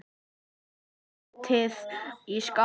Setjið í skál.